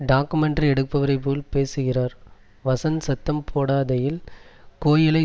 documentary எடுப்பவரை போல் பேசுகிறார் வஸந்த் சத்தம் போடாதேயில் கோயிலை